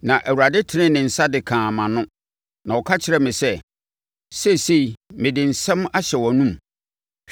Na Awurade tenee ne nsa de kaa mʼano na ɔka kyerɛɛ me sɛ, “Seesei mede me nsɛm ahyɛ wʼanomu.